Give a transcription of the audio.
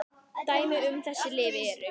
Dæmi um þessi lyf eru